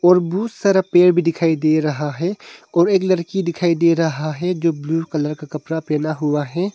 और बहुत सारा पेड़ भी दिखाई दे रहा है और एक लड़की दिखाई दे रहा है जो ब्लू कलर का कपड़ा पहना हुआ है।